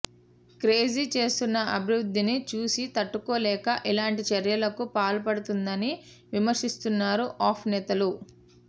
కేజ్రీ చేస్తున్న అభివృద్ధిని చూసి తట్టుకోలేక ఇలాంటి చర్యలకు పాల్పడుతుందని విమర్శిస్తున్నారు ఆప్ నేతలు